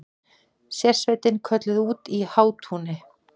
Sérsveitin kölluð út í Hátúni